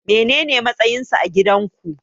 Menene matsayinsa a gidan ku?